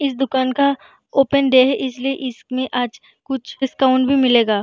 इस दुकान का ओपन डे है इसलिए इसमें आज कुछ डिस्काउंट भी मिलेगा।